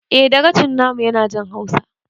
Eh dagacin na mu ya na jin hausa